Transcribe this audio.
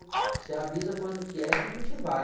Você avisa quando que é, que a gente vai.